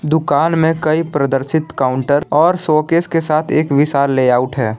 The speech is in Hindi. दुकान में कई प्रदर्शित काउंटर और शोकेस के साथ एक विशाल लेआउट है।